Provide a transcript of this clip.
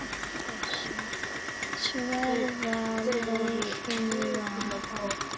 Sverða lagið varði.